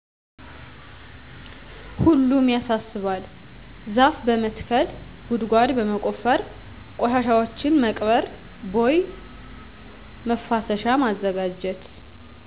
ሁሉም ያሳስባል ዛፍ በመትከል ጉድጓድ በመቆፈር ቆሻሻዎችን መቅበር ቦይ መፋሰሻ ማዘጋጀት